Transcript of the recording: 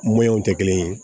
tɛ kelen ye